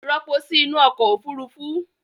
Ropo sí nú ọkọ̀ Òfurufú!